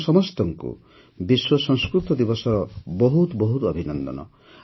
ଆପଣ ସମସ୍ତଙ୍କୁ ବିଶ୍ୱ ସଂସ୍କୃତ ଦିବସର ବହୁତ ବହୁତ ଅଭିନନ୍ଦନ